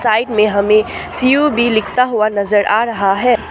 Side में C O B लिखता हुआ नजर आ रहा है।